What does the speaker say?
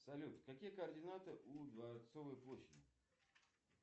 салют какие координаты у дворцовой площади